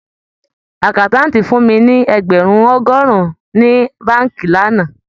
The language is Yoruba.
Àkáńtáǹtì fún mi ní ẹgbẹ̀rún ọgọ́rùn-ún ní báànkì lánàá